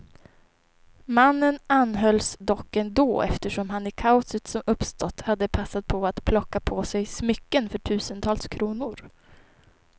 Mannen anhölls dock ändå, eftersom han i kaoset som uppstått hade passat på att plocka på sig smycken för tusentals kronor.